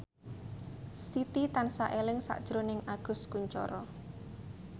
Siti tansah eling sakjroning Agus Kuncoro